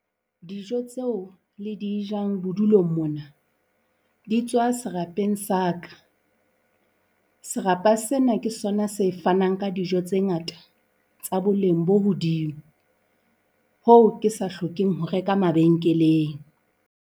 Dijo tseo le di jang bodulong mona di tswa serapeng sa ka. Serapa sena ke sona se fanang ka dijo tse ngata tsa boleng bo hodimo. Hoo ke sa hlokeng ho reka mabenkeleng.